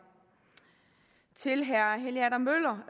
til herre helge adam møller